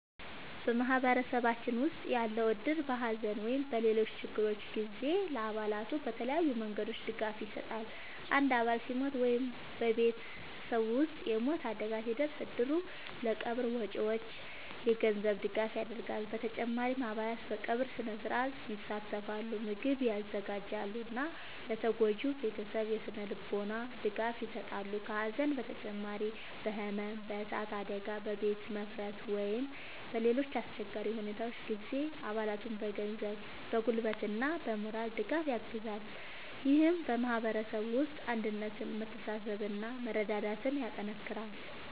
በማህበረሰባችን ውስጥ ያለው እድር በሐዘን ወይም በሌሎች ችግሮች ጊዜ ለአባላቱ በተለያዩ መንገዶች ድጋፍ ይሰጣል። አንድ አባል ሲሞት ወይም በቤተሰቡ ውስጥ የሞት አደጋ ሲደርስ፣ እድሩ ለቀብር ወጪዎች የገንዘብ ድጋፍ ያደርጋል። በተጨማሪም አባላት በቀብር ሥነ-ሥርዓት ይሳተፋሉ፣ ምግብ ያዘጋጃሉ እና ለተጎጂው ቤተሰብ የሥነ-ልቦና ድጋፍ ይሰጣሉ። ከሐዘን በተጨማሪ በሕመም፣ በእሳት አደጋ፣ በቤት መፍረስ ወይም በሌሎች አስቸጋሪ ሁኔታዎች ጊዜም አባላቱን በገንዘብ፣ በጉልበት እና በሞራል ድጋፍ ያግዛል። ይህም በማህበረሰቡ ውስጥ አንድነትን፣ መተሳሰብን እና መረዳዳትን ያጠናክራል።